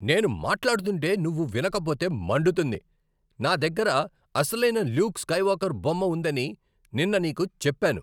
నేను మాట్లాడుతుంటే నువ్వు వినకపోతే మండుతుంది. నా దగ్గర అసలైన ల్యూక్ స్కైవాల్కర్ బొమ్మ ఉందని నిన్న నీకు చెప్పాను.